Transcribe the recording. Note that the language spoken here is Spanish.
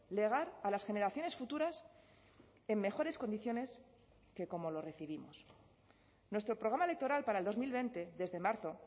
legar a las generaciones futuras en mejores condiciones que como lo recibimos nuestro programa electoral para el dos mil veinte desde marzo